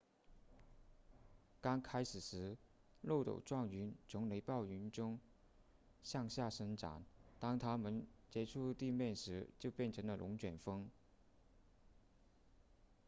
刚开始时漏斗状云从雷暴云中向下伸展当它们接触地面时就变成了龙卷风